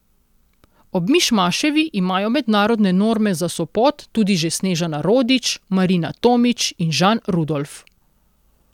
Ob Mišmaševi imajo mednarodne norme za Sopot tudi že Snežana Rodič, Marina Tomič in Žan Rudolf.